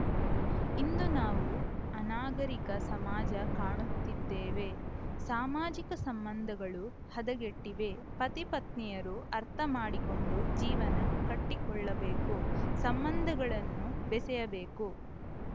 ಇಂದು ನಾವು ಅನಾಗರಿಕ ಸಮಾಜ ಕಾಣುತ್ತಿದ್ದೇವೆ ಸಾಮಾಜಿಕ ಸಂಬಂಧಗಳು ಹದಗೆಟ್ಟಿವೆ ಪತಿ ಪತ್ನಿಯರು ಅರ್ಥ ಮಾಡಿಕೊಂಡು ಜೀವನ ಕಟ್ಟಿಕೊಳ್ಳಬೇಕು ಸಂಬಂಧಗಳನ್ನು ಬೆಸೆಯಬೇಕು